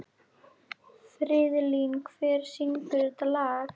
Friðlín, hver syngur þetta lag?